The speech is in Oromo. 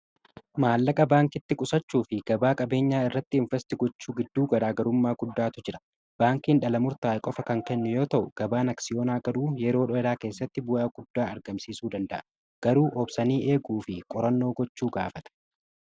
maallaqa baankitti qusachuu fi gabaa qabeenyaa irratti investi gochuu gidduu garaagarummaa guddaatu jira baankiin dhalamurtaa'i qofa kan kenne yoo ta'u gabaan aksiyonaa garuu yeroo dholaa keessatti bu'aa guddaa argamsiisuu danda'a garuu oobsanii eeguu fi qorannoo gochuu gaafata